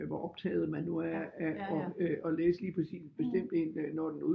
Hvor optaget man nu er af at læse lige præcis en bestemt en når den